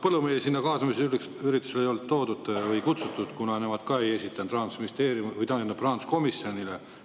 Põllumehi sinna kaasamisüritusele ei olnud toodud või kutsutud, kuna nemad ka ei rahanduskomisjoni poole.